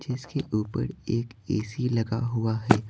जिसके ऊपर एक एसी लगा हुआ है।